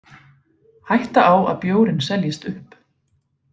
Hætta á að bjórinn seljist upp